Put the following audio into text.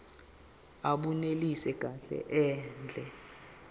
abunelisi kahle inde